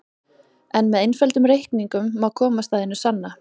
En með einföldum reikningum má komast að hinu sanna.